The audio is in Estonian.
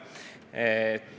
Aitäh!